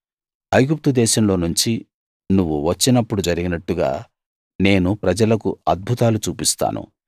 ఐగుప్తుదేశంలో నుంచి నువ్వు వచ్చినప్పుడు జరిగినట్టుగా నేను ప్రజలకు అద్భుతాలు చూపిస్తాను